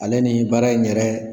Ale ni baara in yɛrɛ